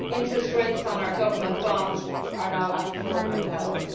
Interest rates on our government bonds are now at affordable levels.